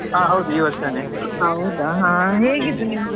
ಹಾ ಹೌದು ಈ ವರ್ಷಾನೇ.